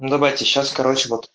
давайте сейчас короче вот